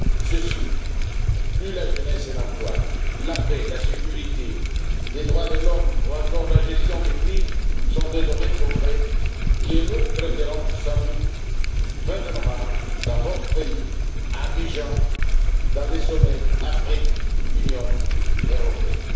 De plus, la jeunesse et l'emploi, la paix, la sécurité, les droits de l'homme ou encore la gestion des crises sont des domaines concrets que nous traiterons sans doute à la fin du mois de novembre dans votre pays, à Abidjan, lors du sommet Afrique Union européenne.